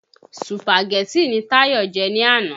Sùpàgẹ́tì ni Táyọ̀ jẹ ni àná.